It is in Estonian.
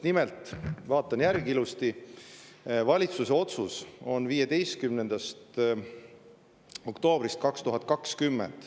Nimelt vaatasin ilusti järgi valitsuse otsuse 15. oktoobrist 2020.